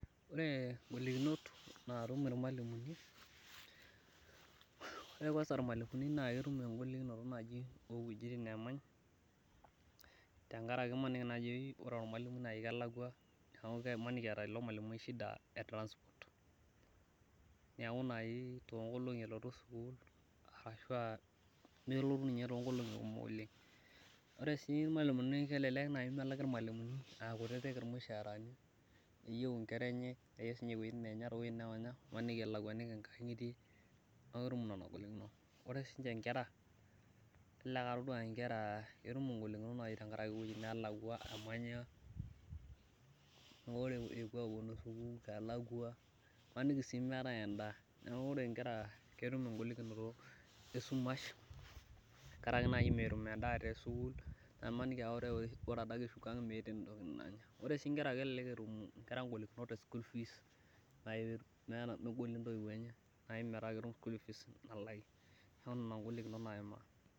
Ore golikinot naatum ilmalimuni, ore kuansa ilmalimuni naa ketum egolikinoto naaji, ewueji oshi neemany. Tenkaraki ore olmalimui ewueji nemanyi kelakua. neeku imaniki eeta ilo malimui shida e transport neeku naaji too nkolong'i nelotu sukuul. arashu aa nelotu ninye too nkolong'i kumok oleng. Ore sii ilmalimuni kelelku naaji melaki ilmalimuni aa kutitik ilmushaarani. neyieu nkera enye imaniki elakuaniki nkang'itie. neeku ketum nena golikinot. Ore sii ninche nkera. kelelek aa itodolu nkera ketum igolikinot naaji tenkaraki iwuejitin neelakua emanya. naa ore imaniki sii meetae edaa. neeku ore nkera ketum golikinoto esumash tenkaraki naaji metum edaa tesukul imaniki ore add eshuko ang', meeta entoki nanya. elelek sii etum egolikinoto e school fees .neeku Nena golikinot naimaa.